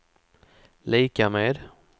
lika med